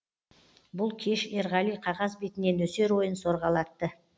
бұл кеш ерғали қағаз бетіне нөсер ойын сорғалатты